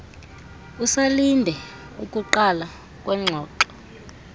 usalinde ukuqala kwengxoxo